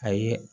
A ye